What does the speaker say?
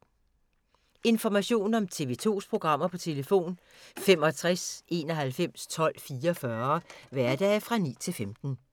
Information om TV 2's programmer: 65 91 12 44, hverdage 9-15.